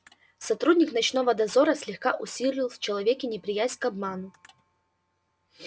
сотрудник ночного дозора слегка усилил в человеке неприязнь к обману